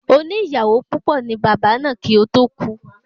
Oní ìyàwó púpọ̀ ni Bàbá náà kí o to ku ni